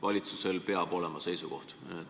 Valitsusel peab olema seisukoht.